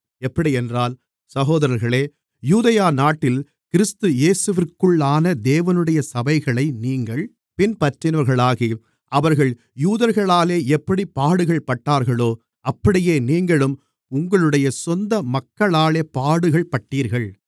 எப்படியென்றால் சகோதரர்களே யூதேயா நாட்டில் கிறிஸ்து இயேசுவிற்குள்ளான தேவனுடைய சபைகளை நீங்கள் பின்பற்றினவர்களாகி அவர்கள் யூதர்களாலே எப்படிப் பாடுகள்பட்டார்களோ அப்படியே நீங்களும் உங்களுடைய சொந்த மக்களாலே பாடுகள்பட்டீர்கள்